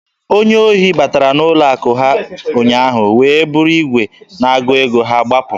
Onye ohi batara n'ụlọ akụ ha ụnyaahụ wee buru igwe na-agụ ego ha gbapụ.